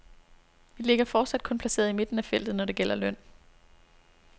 Vi ligger fortsat kun placeret i midten af feltet, når det gælder løn.